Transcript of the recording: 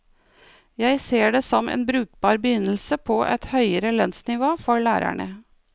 Jeg ser det som en brukbar begynnelse på et høyere lønnsnivå for lærerne.